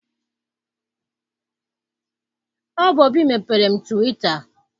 Ọ bụ Obi mepeere m twita.